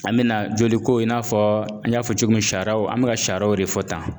An bɛ na joli ko in na an y'a fɔ cogo min sariyaw an bɛ ka sariyaw de fɔ tan